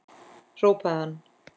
hrópaði hann.